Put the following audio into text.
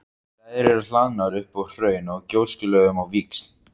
Þær eru hlaðnar upp úr hraun- og gjóskulögum á víxl.